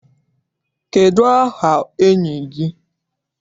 Kedụ aha enyi gị?